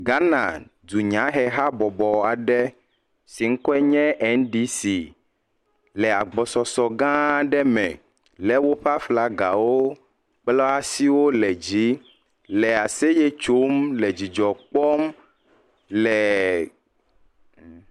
Ghana dunyahe habɔbɔ aɖe si ŋkɔe nye NDC le agbɔsɔsɔ gã aɖe me lé woƒe aflagawo kple woa asiwo le dzi, le aseye tsom, le dzidzɔ kpɔm, lee .